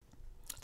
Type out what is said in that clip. TV 2